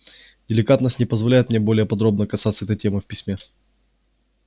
деликатность не позволяет мне более подробно касаться этой темы в письме